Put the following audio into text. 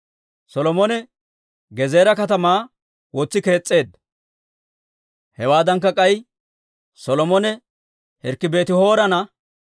Solomone Gezeera katamaa wotsi kees's'eedda. Hewaadankka k'ay, Solomone hirkki Beeti-Horoona,